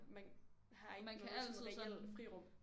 Man har ikke noget sådan reelt frirum